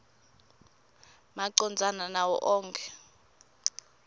macondzana nawo onkhe